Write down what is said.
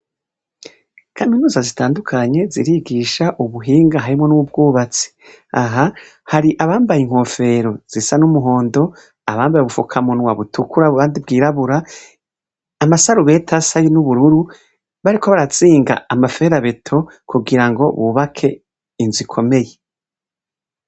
Kaminuza zitandukanye zirigisha ubuhinga harimwo n'ubwubatsi, aha hari abambaye inkofero zisa n'umuhondo, abambaye ubupfukamunwa butukura abandi bwirabura, amasarubeti asa n'ubururu bariko barazinga amaferabeto kugira ngo bubake inzu ikomeye.